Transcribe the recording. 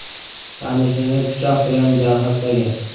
tanishini pichoq bilan jarohatlagan.